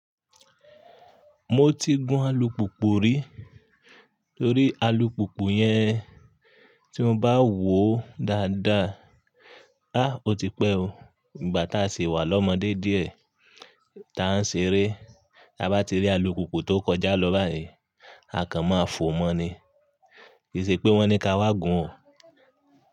Mo ti gun alùpùpù rí torí alùpùpù yẹn tí mo bá wòó dáadáa. Há o ti pẹ́ o. Ìgbà tá a sì wà lọ́mọdé díẹ̀ tá a ṣe eré, bá ti rí alùpùpù tó kọjá lọ báyìí, a kan máa fò mọ́ ni. Kì í ṣe pé wọ́n ní ká wá gun o.